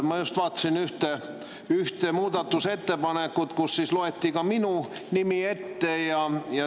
Ma just vaatasin ühte muudatusettepanekut, mille puhul loeti ka minu nimi ette.